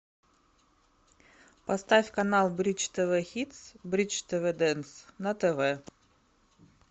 поставь канал бридж тв хитс бридж тв дэнс на тв